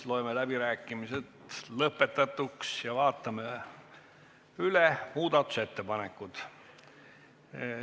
Loeme läbirääkimised lõpetatuks ja vaatame üle muudatusettepanekud.